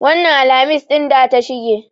Wannan Alhamis ɗin da ta shige.